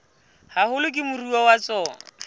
haholo ke moruo wa tsona